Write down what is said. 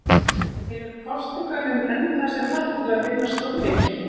Hefur Portúgalinn enn það sem þarf til að vinna stórleiki?